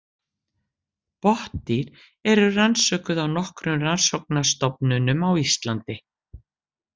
Botndýr eru rannsökuð á nokkrum rannsóknastofnunum á Íslandi.